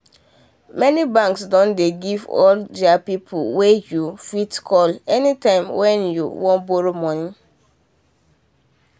many banks doh dey get all these people wen you fit call anytime wen you won borrow money.